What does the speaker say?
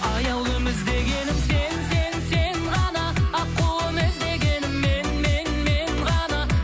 аяулым іздегенім сен сен сен ғана аққуым іздегенің мен мен мен ғана